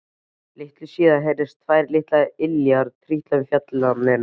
Litlu síðar heyrðust tvær litlar iljar trítla um fjalirnar.